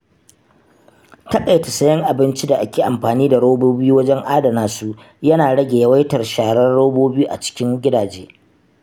Taƙaita siyan abincin da ake amfani da robobi wajen adana su yana rage yawaitar sharar robobi a cikin gidaje.